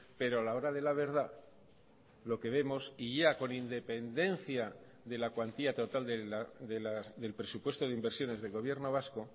pero a la hora de la verdad lo que vemos y ya con independencia de la cuantía total del presupuesto de inversiones del gobierno vasco